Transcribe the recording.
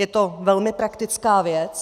Je to velmi praktická věc.